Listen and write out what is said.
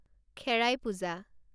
খেৰাই পূজা